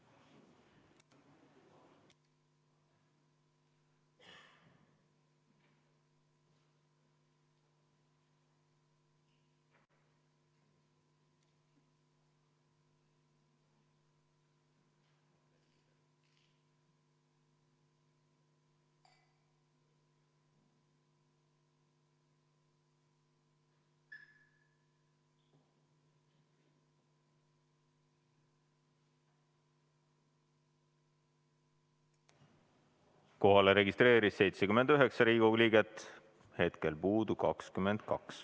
Kohalolijaks registreerus 79 Riigikogu liiget, hetkel puudub 22.